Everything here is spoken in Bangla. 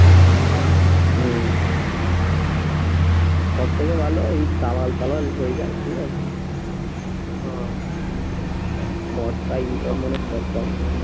হম সব থেকে ভালো এই দালাল ফালাল হয়ে যা ঠিক আছে ও